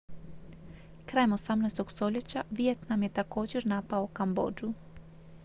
krajem 18. stoljeća vijetnam je također napao kambodžu